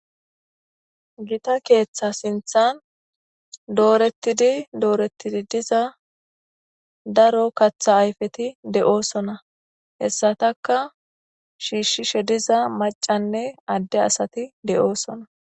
Gita keeththa sinthan dooretidi dooretidi diza daro katha ayfeti de'oosona hessataka shiishshishe diza macanne adde asati de'oosona.